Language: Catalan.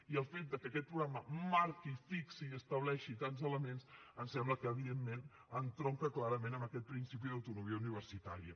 i el fet que aquest programa marqui fixi i estableixi tants elements em sembla que evidentment entronca clarament amb aquest principi d’autonomia universitària